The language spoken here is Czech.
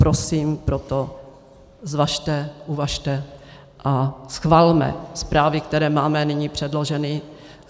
Prosím, proto zvažte, uvažte a schvalme zprávy, které máme nyní předloženy.